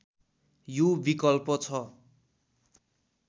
यो विकल्प छ